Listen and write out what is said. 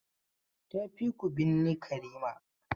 Tafi ku binne Karima!